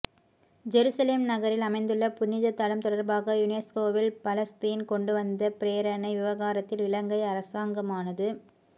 Jerusalem நகரில் அமைந்துள்ள புனிததலம் தொடர்பாக யுனெஸ்கோவில் பலஸ்தீன் கொண்டுவந்த பிரேரணை விவகாரத்தில் இலங்கை அரசாங்கமானது